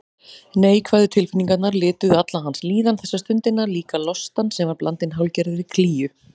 Neikvæðu tilfinningarnar lituðu alla hans líðan þessa stundina, líka lostann sem var blandinn hálfgerðri klígju.